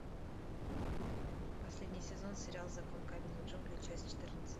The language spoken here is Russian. последний сезон сериал закон каменных джунглей часть четырнадцать